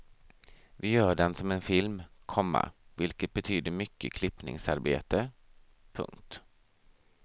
Vi gör den som en film, komma vilket betyder mycket klippningsarbete. punkt